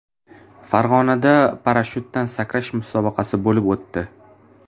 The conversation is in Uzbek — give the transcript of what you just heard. Farg‘onada parashutdan sakrash musobaqasi bo‘lib o‘tdi.